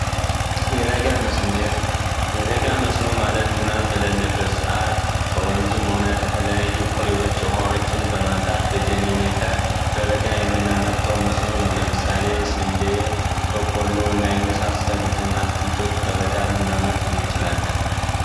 የበጋ መስኖ የበጋ መስኖ ማለት ዝናብ በሌለበት ሰዓት ከወንዝም ሆነ ከተለያዩ ኩሬዎች ውሃዎችን በማምጣት በጄኔሬተር በበጋ የምናመርተው መስኖ ነው። ለምሳሌ የስንዴ ፣በቆሎ እና የመሳሰሉትን አትክልቶች በበጋ ልናመርት እንችላለን።